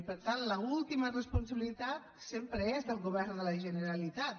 i per tant l’última responsabilitat sempre és del govern de la generalitat